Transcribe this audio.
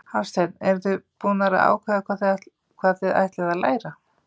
Hafsteinn: Eruð þið búnar að ákveða hvað þið ætlið að læra?